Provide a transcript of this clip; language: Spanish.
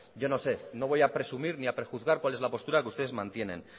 yo no sé no voy a presumir ni a prejuzgar cuál es la postura que ustedes mantienen